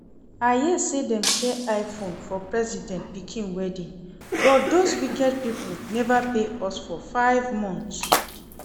I hear say dem share Iphone for president pikin wedding but doz wicked people never pay us for five months